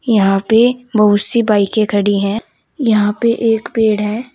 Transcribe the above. यहां पे बहुत सी बाइकें खड़ी हैं। यहां पे एक पेड़ है।